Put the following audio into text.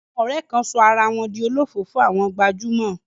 Àwọn ọ̀rẹ́ kan sọ ara wọn di olofoofo àwọn gbajúmọ̀.